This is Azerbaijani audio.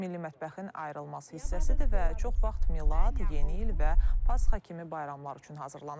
Milli mətbəxin ayrılmaz hissəsidir və çox vaxt Milad, yeni il və Pasxa kimi bayramlar üçün hazırlanır.